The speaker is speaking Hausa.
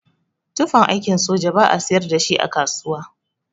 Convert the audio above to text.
Tufan aikin soja ba'a siyar dashi a kasuwa.